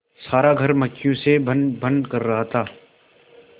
सारा घर मक्खियों से भनभन कर रहा था